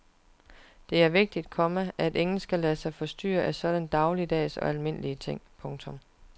Det er vigtigt, komma at ingen skal lade sig forstyrre af sådan en dagligdags og almindelig ting. punktum